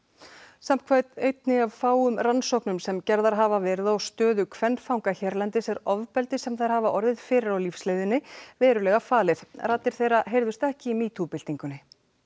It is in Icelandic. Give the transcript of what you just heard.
samkvæmt einni af fáum rannsóknum sem gerðar hafa verið á stöðu kvenfanga hérlendis er ofbeldi sem þær hafa orðið fyrir á lífsleiðinni verulega falið raddir þeirra heyrðust ekki í MeToo byltingunni